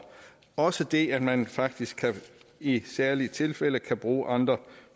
også det at man faktisk i særlige tilfælde kan bruge andre